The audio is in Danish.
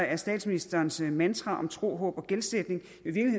er statsministerens mantra om tro håb og gældsætning